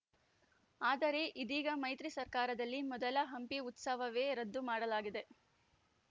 ಆದರೆ ಇದೀಗ ಮೈತ್ರಿ ಸರ್ಕಾರದಲ್ಲಿ ಮೊದಲ ಹಂಪಿ ಉತ್ಸವವೇ ರದ್ದು ಮಾಡಲಾಗಿದೆ